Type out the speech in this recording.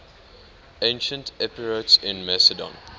ancient epirotes in macedon